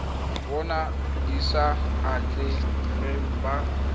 bona di sa atlegang ba